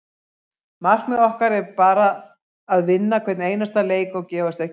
Markmið okkar er bara að vinna hvern einasta leik og gefast ekki upp.